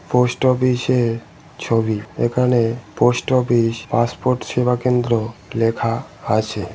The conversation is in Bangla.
পোস্ট অফিস -এর ছবি। এখানে পোস্ট অফিস পাসপোর্ট সেবা কেন্দ্র লেখা আছে।